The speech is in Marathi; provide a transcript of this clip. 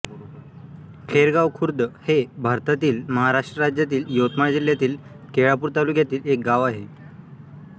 खैरगाव खुर्द हे भारतातील महाराष्ट्र राज्यातील यवतमाळ जिल्ह्यातील केळापूर तालुक्यातील एक गाव आहे